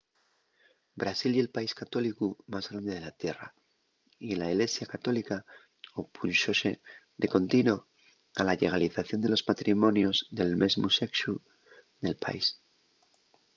brasil ye’l país católicu más grande de la tierra y la ilesia católica opúnxose de contino a la llegalización de los matrimonios del mesmu sexu nel país